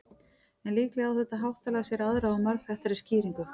en líklega á þetta háttalag sér aðra og margþættari skýringu